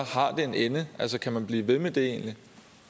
har det en ende altså kan man egentlig blive ved med det